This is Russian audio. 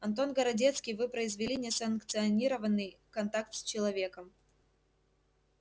антон городецкий вы произвели несанкционированный контакт с человеком